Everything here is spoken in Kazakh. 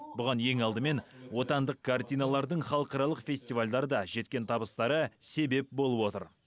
бұған ең алдымен отандық картиналардың халықаралық фестивальдарда жеткен табыстары себеп болып отыр